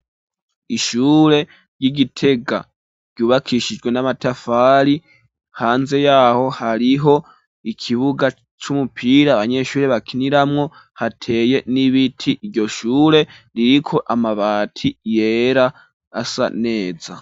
Ishure ry'i Gitega ryubakishijwe n'amatafari. Hanze yaho hariho ikibuga c'umupira abanyeshure bakiniramwo, hateye n'ibiti. Iryo shure ririko amabati yera asa neza.